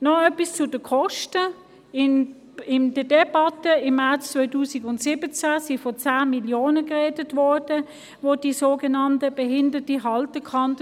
Noch etwas zu den Kosten: In der Debatte im März 2017 war die Rede von Kosten in der Höhe von 10 Mio. Franken für die sogenannte behindertengerechte Haltekannte.